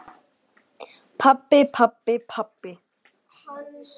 Pabbi, pabbi, pabbi.